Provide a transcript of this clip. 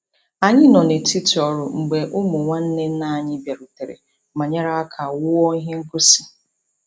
Anyị nọ n'etiti ọrụ mgbe ụmụ nwanne nna anyị bịarutere ma nyere aka wuo ihe ngosi.